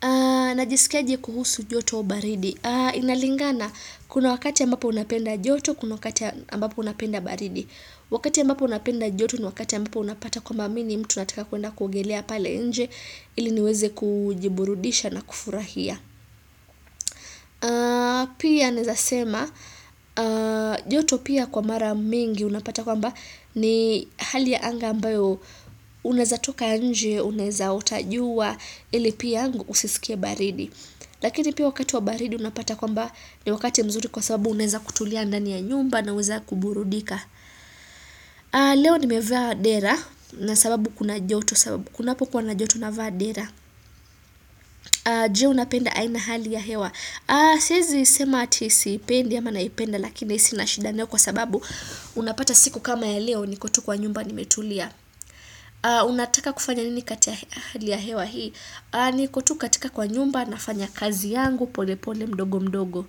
Ahh Najisikia aje kuhusu joto baridi, inalingana kuna wakati ya ambapo unapenda joto, kuna wakati ambapo napenda baridi. Wakati ambapo napenda joto ni wakati ambapo unapata kwamba mi ni mtu nataka kuenda kuogelea pale nje ili niweze kujiburudisha na kufurahia. Pia naezasema joto pia kwa mara mingi unapata kwamba ni hali ya anga ambayo uneza toka inje uneza otaj ua ili pia ng usisikie baridi mhh eh Lakini pia wakati wa baridi unapata kwamba ni wakati mzuri kwa sababu uneza kutulia ndani ya nyumba naweza kuburudika. Hhh ahh Leo nimevaa dera na sababu kuna joto sababu kunapokua na joto navaa dera. Je unapenda aina hali ya hewa ahh Siezi sema ati si ipendi ama naipenda Lakini sina shida nayo kwa sababu hh m Unapata siku kama ya leo niko tu kwa nyumba ni metulia unataka kufanya nini kati ya hali ya hewa hii nikotu katika kwa nyumba nafanya kazi yangu pole pole mdogo mdogo.